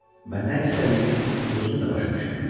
Və nə istədiyini özün də başa düşmürdün.